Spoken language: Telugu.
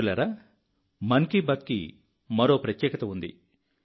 మిత్రులారా మన్ కీ బాత్కి మరో ప్రత్యేకత ఉంది